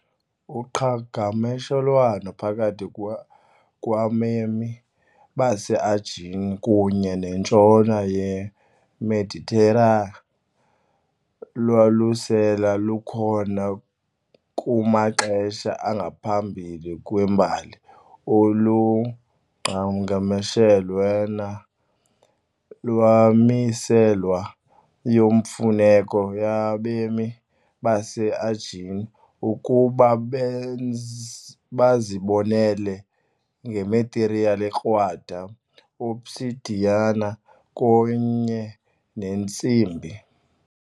Uqhagamshelwano phakathi kwabemi baseAegean kunye nentshona yeMeditera lwalusele lukhona kumaxesha angaphambi kwembali - olu qhagamshelwano lwamiselwa yimfuneko yabemi baseAegean ukuba benze bazibonelele ngemathiriyeli ekrwada, obsidian kunye neentsimbi .